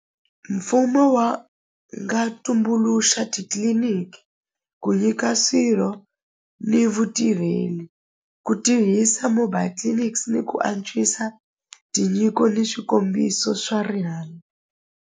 Mfumo wa nga tumbuluxa titliliniki ku nyika swirho ni vutirheli ku tihisa mobile clinics ni ku antswisa tinyiko ni swikombiso swa rihanyo.